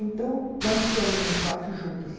Então, nós ficamos num quarto juntas.